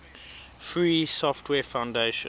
free software foundation